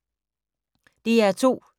DR2